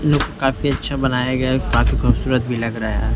Look काफी अच्छा बनाया गया है काफी खूबसूरत भी लग रहा है।